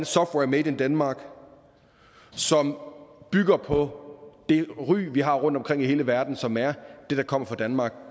software made in denmark som bygger på det ry vi har rundtomkring i hele verden som er at det der kommer fra danmark